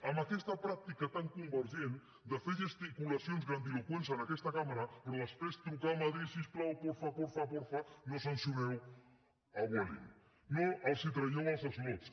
amb aquesta pràctica tan convergent de fer gesticulacions grandiloqüents en aquesta cambra però després trucar a madrid si us plau porfa porfa porfa no sancioneu a vueling no els tragueu els slots